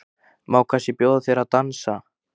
Má kannski bjóða þér að dansa?